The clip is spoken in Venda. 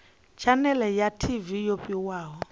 tshanele ya tv yo fhiwaho